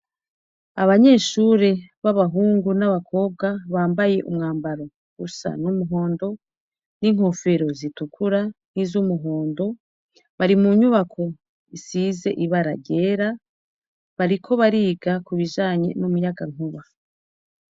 Abanyeshure b'abahungu n'abakobwa bambaye umwambaro usa n'umuhondo n'inkofero zitukura n'izumuhondo. Bari mu nyubako isize ibara ryera, bariko bariga k'ubijanye n'umuyagankuba.